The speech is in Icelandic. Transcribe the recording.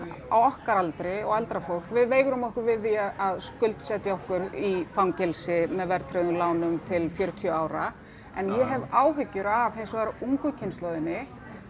á okkar aldri og eldra fólk við veigrum okkur við því að skuldsetja okkur í fangelsi með verðtryggðum lánum til fjörutíu ára en ég hef áhyggjur af hins vegar ungu kynslóðinni